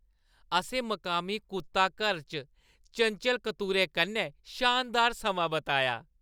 असैंं मकामी कुत्ता-घरै च चंचल कतूरे कन्नै शानदार समां बिताया।